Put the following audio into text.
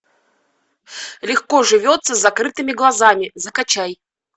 легко живется с закрытыми глазами закачай